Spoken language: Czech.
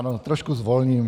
Ano, trošku zvolním.